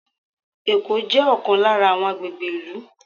Ẹ̀kọ́ jẹ́ ọ̀kan lára àwọn agbègbè ìlú.